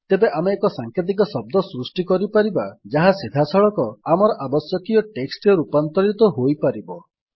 ତେବେ ଆମେ ଏକ ସାଂକେତିକ ଶବ୍ଦ ସୃଷ୍ଟି କରିପାରିବା ଯାହା ସିଧାସଳଖ ଆମର ଆବଶ୍ୟକୀୟ ଟେକ୍ସଟ୍ ରେ ରୂପାନ୍ତରିତ ହୋଇପାରିବ